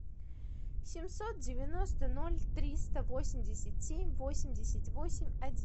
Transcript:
семьсот девяносто ноль триста восемьдесят семь восемьдесят восемь один